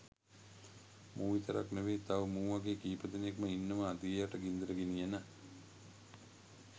මූ විතරක් නෙවෙයි තව මූ වගේ කීපදෙනෙක්ම ඉන්නවා දිය යට ගින්දර ගෙනියන.